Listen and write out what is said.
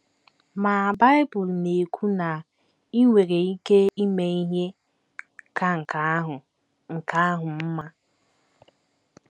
Ma Bible na - ekwu na i nwere ike ime ihe ka nke ahụ nke ahụ mma!